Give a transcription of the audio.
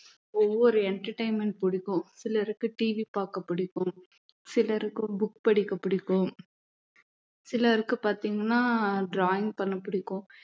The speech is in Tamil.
ஒவ்வொரு entertainment பிடிக்கும் சிலருக்கு TV பார்க்க பிடிக்கும் சிலருக்கு book படிக்க பிடிக்கும் சிலருக்கு பார்த்தீங்கன்னா drawing பண்ண பிடிக்கும்